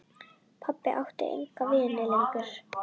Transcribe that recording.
Pabbi átti enga vini lengur.